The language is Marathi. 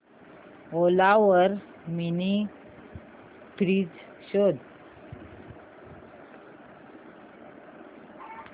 ओला वर मिनी फ्रीज शोध